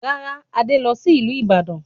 Rárá, Adé lọ sí ìlú Ìbàdàn